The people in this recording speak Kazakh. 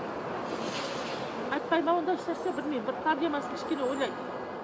айтпай ма ондай ешнәрсе білмеймін бір проблемасын кішкене ойлайды